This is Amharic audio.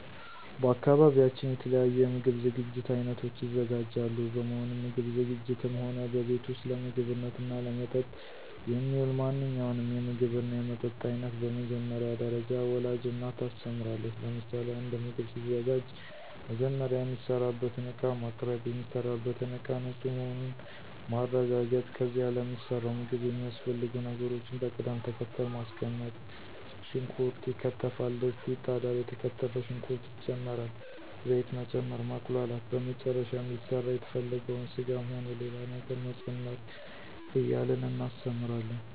በአካባቢያችን የተለያዩ የምግብ ዝግጅት አይነቶች ይዘጋጃሉ በመሆኑም ምግብ ዝግጂትም ሆነ በቤት ውስጥ ለምግብነትና ለመጠጥ የሚውል ማንኛውንም የምግብና የመጠጥ አይነት በመጀመሪያ ደረጃ ወላጅ እናት ታስተምራለች ለምሳሌ፦ አንድ ምግብ ሲዘጋጅ መጀመሪያ የሚሰራበትን እቃ ማቅርብ፣ የሚሰራበትን እቃ ንፁህ መሆኑን ማረጋገጥ ከዚያ ለሚሰራው ምግብ የሚያስፈልጉ ነገሮችን በቅድም ተከተል ማስቀመጥ ሽንኩርት ይከተፋል፣ ድስት ይጣዳል፣ የተከተፈ ሽንኩርት ይጨመራል፣ ዘይት መጨመር፣ ማቁላላት በመጨረሻም ሊሰራ የተፈለገውን ስጋም ሆነ ሌላ ነገር መጨመር እያልን እናስተምራለን።